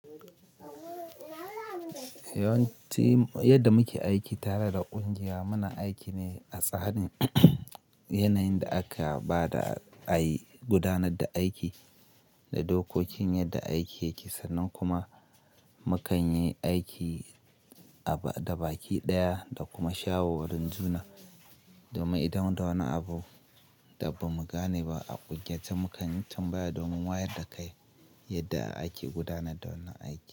Yawanci yadda muke aiki tare da ƙungiya, muna aiki ne a tsari yanayin da aka ba da a yi gudanar da aiki da dokokin yadda aiki yake sannan kuma mu kan yi aiki da baki ɗaya da kuma shawo wurin juna. Domin idan da wani abu da ba mu gane ba a ƙungiya, to mukan tambaya domin wayar da kai yadda ake gudanar da wannan aiki.